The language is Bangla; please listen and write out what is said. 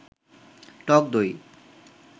টক দই